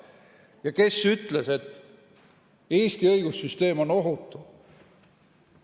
Ja kes ütles, et Eesti õigussüsteem on ohutu?